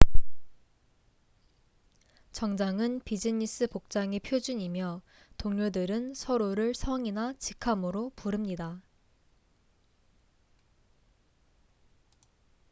정장은 비즈니스 복장의 표준이며 동료들은 서로를 성이나 직함으로 부릅니다